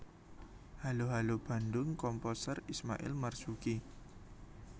Halo Halo Bandung Komposer Ismail Marzuki